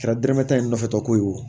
Kɛra dɔrɔmɛ tan in nɔfɛ tɔ ko ye wo